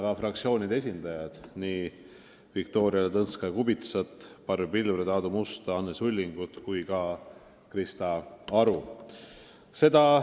Tänan fraktsioonide esindajad, nii Viktoria Ladõnskaja-Kubitsat, Barbi Pilvret, Aadu Musta, Anne Sullingut kui ka Krista Aru!